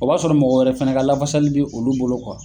O b'a sɔrɔ mɔgɔ wɛrɛ fɛnɛ ka lafasali bɛ olu bolo